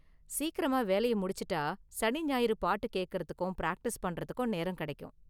சீக்கிரமா வேலய முடிச்சுட்டா சனி ஞாயிறு பாட்டு கேக்கறதுக்கும் பிராக்டிஸ் பண்றதுக்கும் நேரம கெடைக்கும்.